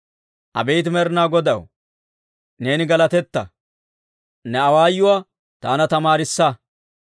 Abeet Med'inaa Godaw, neeni galatetta! Ne awaayuwaa taana tamaarissa.